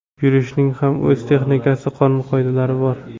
Yurishning ham o‘z texnikasi, qonun-qoidalari bor.